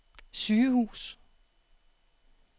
sygehus